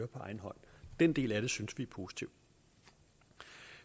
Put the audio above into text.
på egen hånd den del af det synes vi er positiv